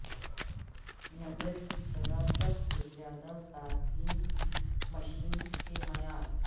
نظر کی طرح سب سے زیادہ صارفین کی مشین کے معیار